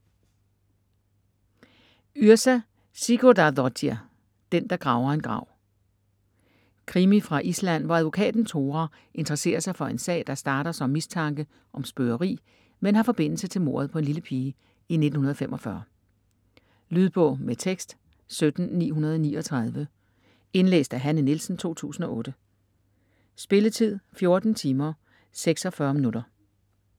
Yrsa Sigurdardóttir: Den der graver en grav Krimi fra Island, hvor advokaten Thora interesserer sig for en sag, der starter som mistanke om spøgeri, men har forbindelse til mordet på en lille pige i 1945. Lydbog med tekst 17939 Indlæst af Hanne Nielsen, 2008. Spilletid: 14 timer, 46 minutter.